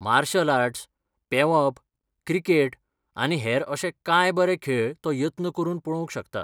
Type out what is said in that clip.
Martial arts, पेंवप, cricket आनी हेर अशे कांय बरे खेळ तो यत्न करून पळोवंक शकता.